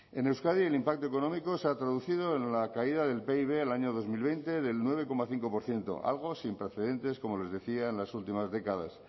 en euskadi el impacto económico se ha traducido en la caída del pib del año dos mil veinte del nueve coma cinco por ciento algo sin precedentes como les decía en las últimas décadas